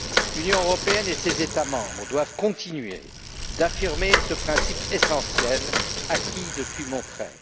L'Union européenne et ses États membres doivent continuer d'affirmer ce principe essentiel acquis depuis Monterrey.